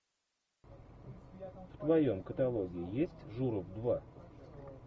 в твоем каталоге есть журов два